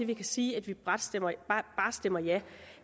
kan sige at vi bare stemmer stemmer ja